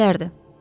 Ərəblərdir.